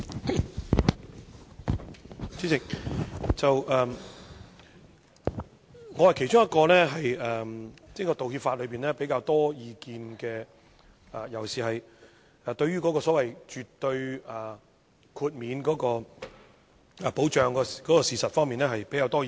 代理主席，我是其中一位對道歉法有比較多意見的人，尤其是對於所謂絕對豁免保障事實方面有比較多的意見。